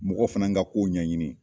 Mɔgɔw fana ka kow ɲɛɲini